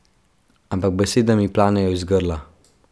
Ampak besede mi planejo iz grla.